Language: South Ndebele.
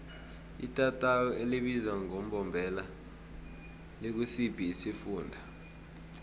itatawu elibizwa ngembombela likusiphi isifunda